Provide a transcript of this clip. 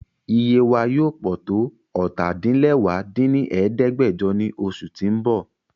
Iye wa yoo pọ to ọ́ta-din-lẹwá dín ní ẹ̀ẹ́dẹ́gbẹ́jọ ni oṣu ti n bọ